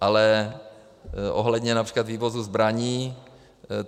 Ale ohledně například vývozu zbraní...